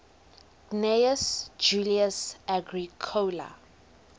gnaeus julius agricola